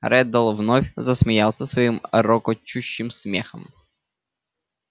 реддл вновь засмеялся своим рокочущим смехом